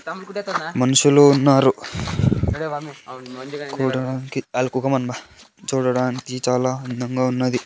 మనుషులు ఉన్నారు కూడాకి చూడడానికి చాలా అందముగా ఉన్నది.